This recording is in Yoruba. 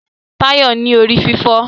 Tayo ń ní orí-fífọ́.